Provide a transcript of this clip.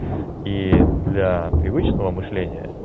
и для привычного мышления